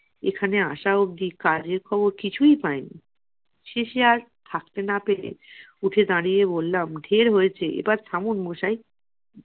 এখানে আসা অবধি কাজের খবর কিছুই পাই নি। শেষে আর থাকতে না পেরে উঠে দাঁড়িয়ে বললাম, ঢের হয়েছে এবার থামুন মশাই।